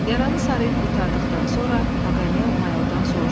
Yaranı sarıyıb qurtardıqdan sonra Paqanel mayordan soruşdu: